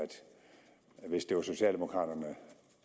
hvis det var socialdemokraterne